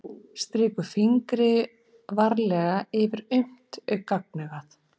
Strýkur fingri varlega yfir auma gagnaugað.